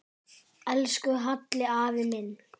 Elsku Halli afi minn.